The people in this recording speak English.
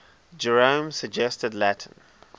jerome's suggested latin